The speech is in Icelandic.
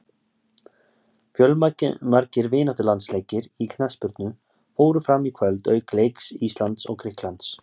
Fjölmargir vináttulandsleikir í knattspyrnu fóru fram í kvöld auk leiks Íslands og Grikklands.